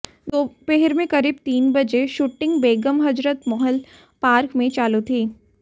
दोपहर में करीब तीन बजे शूटिंग बेगम हजरत महल पार्क में चालू थी